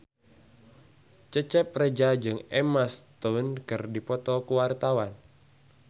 Cecep Reza jeung Emma Stone keur dipoto ku wartawan